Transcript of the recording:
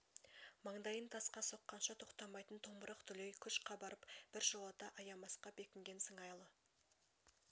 маңдайын тасқа соққанша тоқтамайтын томырық дүлей күш қабарып біржолата аямасқа бекінген сыңайлы